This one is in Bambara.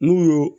N'u y'o